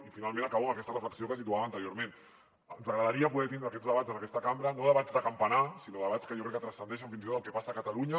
i finalment acabo amb aquesta reflexió que situava anteriorment ens agradaria poder tindre aquests debats en aquesta cambra no debats de campanar sinó debats que jo crec que transcendeixen fins i tot el que passa a catalunya